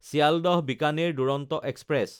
চিল্ডাহ–বিকানেৰ Duronto express